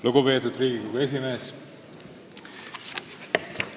Lugupeetud Riigikogu esimees!